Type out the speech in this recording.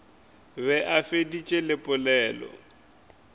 be a feditše le pelo